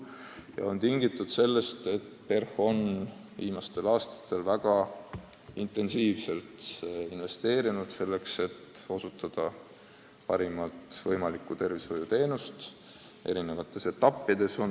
See on tingitud sellest, et PERH on viimastel aastatel väga intensiivselt investeerinud selleks, et osutada parimat võimalikku tervishoiuteenust eri etappides.